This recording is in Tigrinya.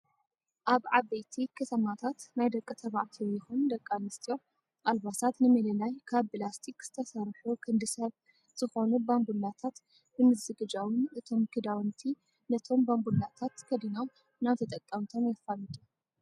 ኣብ ዓበይቲ ከተማታት ናይ ደቂ ተባዕትዮ ይኹን ደቂ ኣንስትዮ ኣልባሳት ንምልላይ ካብ ብላስቲክ ዝተሰርሑ ክንዲ ሰብ ዝኾኑ ባንቡላታት ብምዝግጃውን እቶም ክዳውንቲ ነቶም ባንቡላታት ከዲኖም ናብ ተጠቀምቶም የፋልጡ።